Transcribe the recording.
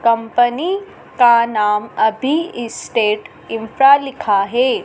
Company का नाम अभी स्टेट इंफ्रा लिखा है।